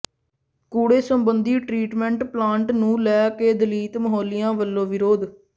ਕੂੜੇ ਸਬੰਧੀ treatment plant ਨੂੰ ਲੈ ਕੇ ਦਲਿਤ ਮੁਹੱਲਿਆਂ ਵੱਲੋਂ ਵਿਰੋਧ